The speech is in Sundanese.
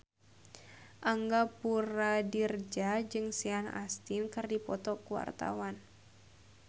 Angga Puradiredja jeung Sean Astin keur dipoto ku wartawan